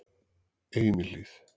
Einihlíð